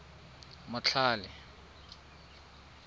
motlhale